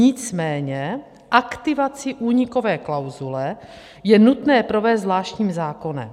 Nicméně aktivací únikové klauzule je nutné provést zvláštní zákonem.